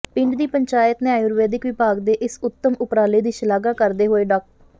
ਪਿੰਡ ਦੀ ਪੰਚਾਇਤ ਨੇ ਆਯੂਰਵੈਦਿਕ ਵਿਭਾਗ ਦੇ ਇਸ ਉੱਦਮ ਉਪਰਾਲੇ ਦੀ ਸ਼ਲਾਘਾ ਕਰਦੇ ਹੋਏ ਡਾ